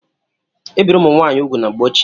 Ebirì ụmụ nwaanyị úgwù na mgbe ochie.